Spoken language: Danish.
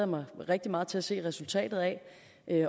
mig rigtig meget til at se resultatet af